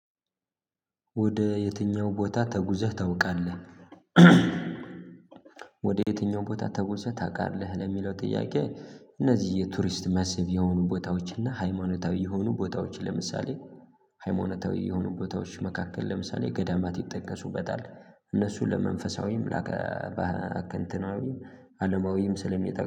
ወደ የትኛው ቦታ ተጉዘህ ታውቃለህ? ወደ የትኛው ቦታ ተጉዘህ ታውቃለህ ለሚለው ጥያቄ? እነዚህ የቱሪስት መስብ የሆኑ ቦታዎችና ሃይማኖታዊ የሆኑ ቦታዎች ለምሳሌ ሃይማኖታዊ የሆኑ ቦታዎች መካከል ለምሳሌ ገዳማት ይጠቀሱበታል። እነሱ ለመንፈሳዊም ለአከ እንትናዊ አለማዊም ስለሚጠቅሙ